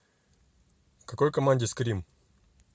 в какой команде скрим